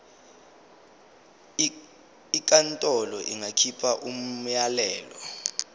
inkantolo ingakhipha umyalelo